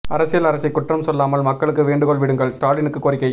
அரசியல் அரசை குற்றம் சொல்லாமல் மக்களுக்கு வேண்டுகோள் விடுங்கள் ஸ்டாலினுக்கு கோரிக்கை